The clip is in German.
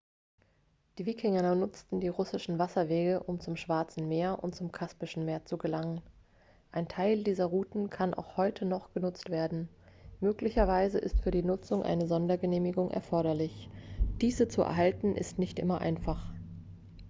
die wikinger nutzten die russischen wasserwege um zum schwarzen meer und zum kaspischen meer zu gelangen ein teil dieser routen kann auch heute noch genutzt werden möglicherweise ist für die nutzung eine sondergenehmigung erforderlich diese zu erhalten ist nicht immer einfach